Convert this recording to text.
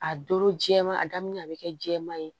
A doro jɛman a daminɛ a bɛ kɛ jɛman ye